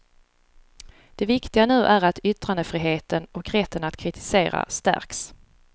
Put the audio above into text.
Det viktiga nu är att yttrandefriheten och rätten att kritisera stärks.